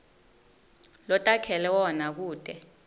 lotakhele wona kute